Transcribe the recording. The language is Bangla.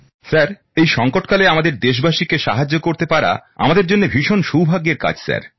স্যার এই সঙ্কট কালে আমাদের দেশবাসী কে সাহায্য করতে পারা আমাদের জন্য ভীষণ সৌভাগ্যের কাজ স্যার